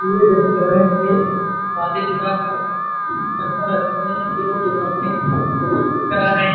ये जैसे लग रहे हैं कोई शादी विवाह का ।